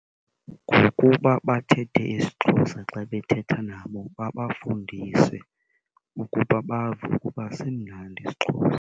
Ngokuba bathethe isiXhosa xa bethetha nabo, babafundise ukuba bave ukuba simnandi isiXhosa.